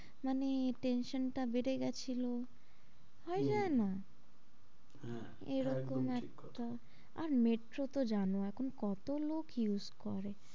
হম মানে tension টা বেড়ে গেছিলো হম হয়ে যায় না? হ্যাঁ এটা একদম ঠিক কথা আর metro তো জানো কত লোক use করে?